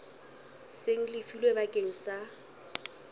seng le lefilwe bakeng sa